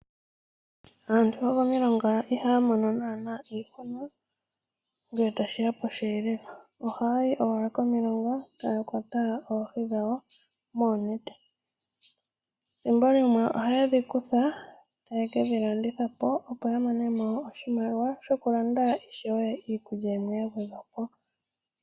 Aantu yokomilonga ihaya mono naana iihuna ngele tashiya posheelelwa .Oha yayi owala komilonga tayakwata oohi dhawo moonete .Ethimbolimwe ohayedhi kutha taye kedhi landithapo opo yamonemo oshimaliwa shokulanda ishewe iikulya yimwe yagwedhwapo